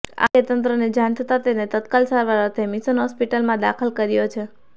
આ અંગે તંત્રને જાણ થતાં તેને તત્કાલ સારવાર અર્થે મિશન હોસ્પિટલમાં દાખલ કર્યો છે